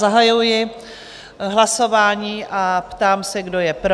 Zahajuji hlasování a ptám se, kdo je pro?